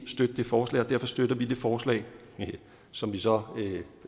støtte det forslag og derfor støtter vi det forslag som vi så